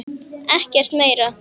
Ekkert meira?